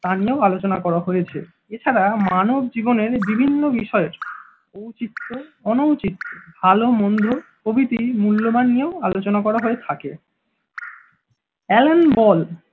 তা নিয়েও আলোচনা করা হয়েছে। এছাড়া মানব জীবনের বিভিন্ন বিষয়ের ঔচিত্য অনৌচিত্ত্ব ভালোমন্দ প্রভৃতি মূল্যবান নিয়েও আলোচনা করা হয়ে থাকে। অ্যালেন বল